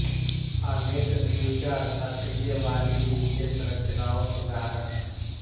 अनेक द्विचर सऺक्रिया वाली बीजीय संरचनाओं के उदाहरण हैं